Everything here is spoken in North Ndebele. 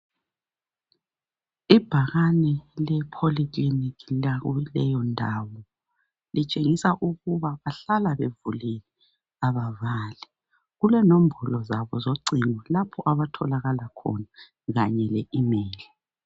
Ibhakane le Poly Clinic lakuleyo ndawo litshengisa ukuba bahlala bevulile abavali. Kule nombolo zabo zocingo lapho abatholakala khona kanye le email.